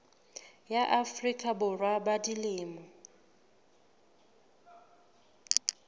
ya afrika borwa ba dilemo